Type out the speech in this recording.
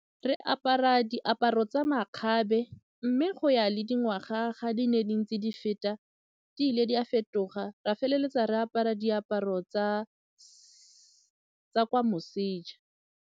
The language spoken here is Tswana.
Re apara diaparo tsa makgabe mme go ya le dingwaga ga di ne di ntse di feta di ile di a fetoga re a feleletsa re apara diaparo tsa kwa moseja.